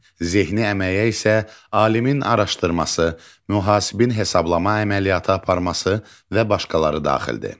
Zehni əməyə isə alimin araşdırması, mühasibin hesablama əməliyyatı aparması və başqaları daxildir.